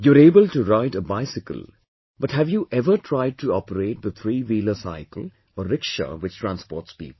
You're able to ride a bicycle but have you ever tried to operate the threewheeler cycle or rickshaw which transports people